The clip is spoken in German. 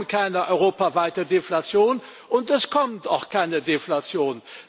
Wir haben keine europaweite Deflation, und es kommt auch keine Deflation.